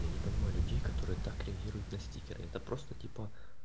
я не понимаю людей которые так реагируют на стикеры это просто типа